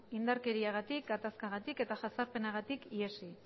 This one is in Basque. indarkeriagatik gatazkagatik eta jazarpenagatik ihesi